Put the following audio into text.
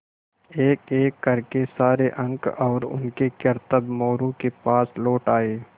एकएक कर के सारे अंक और उनके करतब मोरू के पास लौट आये